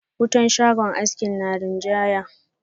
Wutan shagon haski na rinjaya.